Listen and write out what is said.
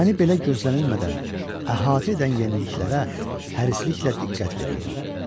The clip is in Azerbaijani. Məni belə gözlənilmədən əhatə edən yeniliklərə hərisliklə diqqət verirdim.